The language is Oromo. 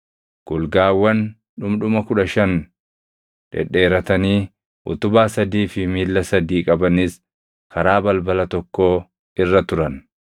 Golgaawwan dhundhuma kudha shan dhedheeratanii utubaa sadii fi miilla sadii qabanis karaa balbala tokkoo irra turan.